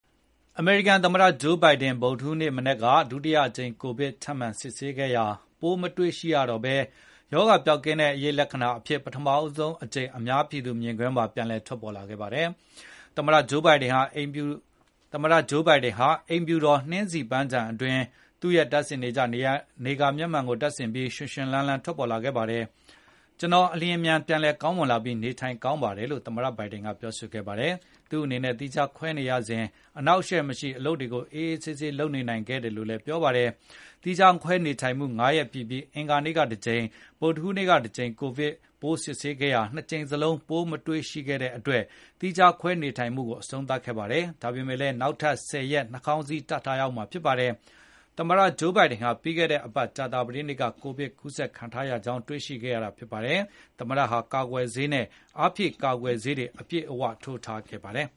အမေရိကန်သမ္မတ Joe Biden ဗုဒ္ဓဟူးနေ့မနက်က ဒုတိယအကြိမ် ကိုဗစ်ထပ်မံစစ် ဆေးခဲ့ရာပိုးမတွေ့ရှိရတော့ဘဲ၊ ရောဂါပျောက်ကင်းတဲ့အရိပ်လက္ခဏာအဖြစ် ပထမ ဆုံးအကြိမ်အများပြည်သူမြင်ကွင်းမှာပြန်လည်ထွက်ပေါ်လာခဲ့ပါတယ်။ သမ္မတဂျိုးဘိုင်ဒင်ဟာ အိမ်ဖြူတော်နှင်းဆီပန်းခြံအတွင်း သူရဲ့တပ်နေကြ နေကာမျက်မှန်ကိုတပ်ဆင်ပြီး ရွှင်ရွှင်လန်းလန်းထွက်ပေါ်လာခဲ့ပါတယ်။ ကျနော် အလျင်မြန်ပြန်လည်ကောင်းမွန်လာပြီးနေထိုင်ကောင်းပါတယ်လို့ သမတဘိုင်ဒင် ကပြောဆိုခဲ့ပါတယ်။ သူ့နေနဲ့ သီးခြားခွဲနေရစဉ် အနှောက်အယှက်မရှိ အလုပ်တွေကိုအေးအေးဆေးဆေးလုပ်နေနိုင်ခဲ့တယ်လို့လည်းပြောဆိုပါတယ်။ သီးခြားခွဲနေထိုင်မှု၅ ရက်ပြည့်ပြီး အင်္ဂါနေ့ကတကြိမ်၊ ဗုဒ္ဓဟူးနေ့ကတကြိမ် ကိုဗစ်ပိုး စစ်ဆေးခဲ့ရာနှစ်ကြိမ်စလုံးပိုးမရှိကြောင်းတွေ့ရှိခဲ့ရတဲ့အတွက် သီးခြားခွဲနေထိုင်မှုကို အဆုံးသတ်ခဲ့တာပါ။ ဒါပေမယ့်လည်းနောက်ထပ် ၁၀ ရက် နှာခေါင်းစည်းတပ်ထားရ ဦးမှာဖြစ်ပါတယ်။ သမ္မတ ဂျိုးဘိုင်ဟာပြီးခဲ့တဲ့ အပတ်ကြာသာပတေးနေ့က ကိုဗစ်ကူးဆက်ခံထားရကြောင်းတွေ့ရှိခဲ့ရတာဖြစ်ပါတယ်။ သမ္မတ ဘိုင်ဒန် ဟာကာကွယ်ဆေးနဲ့အားဖြည့်ကာကွယ်ဆေးတွေကိုလည်း အပြည့်ထိုးထားခဲ့ပါတယ်။